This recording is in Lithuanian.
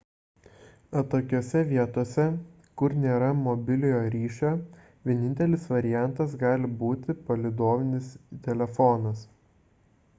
atokiose vietose kur nėra mobiliojo ryšio vienintelis variantas gali būti palydovinis telefonas